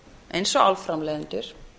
eins og álframleiðendur